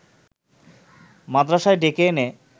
মাদরাসায় ডেকে এনে